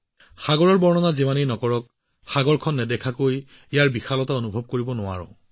কোনোবাই সাগৰক যিমানেই বৰ্ণনা নকৰক কিয় আমি সাগৰখন নেদেখিলে ইয়াৰ বিশালতা অনুভৱ কৰিব নোৱাৰো